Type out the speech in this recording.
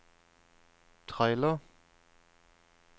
trailer